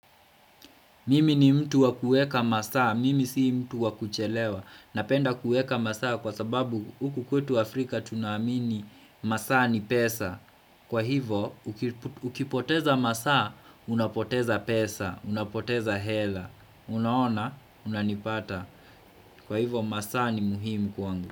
Mimi ni mtu wa kuweka masaa, mimi sii mtu wakuchelewa, napenda kuweka masaa kwa sababu huku kwetu Afrika tunaamini masaa ni pesa, kwa hivo ukipoteza masaa unapoteza pesa, unapoteza hela, unaona, unanipata, kwa hivo masaa ni muhimu kwangu.